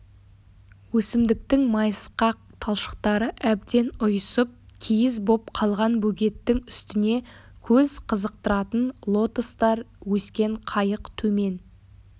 өсімдіктің майысқақ талшықтары әбден ұйысып киіз боп қалған бөгеттің үстіне көз қызықтыратын лотостар өскен қайық төмен